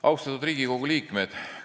Austatud Riigikogu liikmed!